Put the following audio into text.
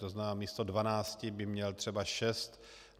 To znamená, místo dvanácti by měl třeba šest.